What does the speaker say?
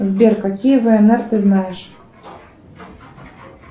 сбер какие внр ты знаешь